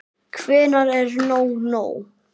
Hvenær er nóg nóg?